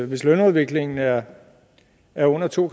hvis lønudviklingen er er under to